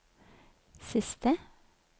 siste